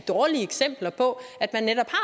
dårlige eksempler på at man netop